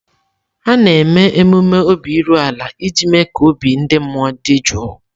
A na-eme emume obi iru ala iji mee ka obi ndị mmụọ dị jụụ.